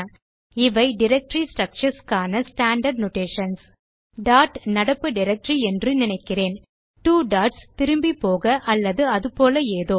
இவை directory structures க்கான standard notations dot நடப்பு டைரக்டரி என்று நினைக்கிறேன் ட்வோ டாட்ஸ் திரும்பிப்போக அல்லது அது போல ஏதோ